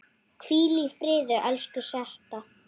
Hvíl í friði, elsku Setta.